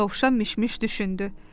Dovşan Mişmiş düşündü.